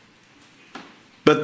and do our best we will contribute